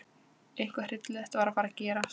Eitthvað hryllilegt var að fara að gerast.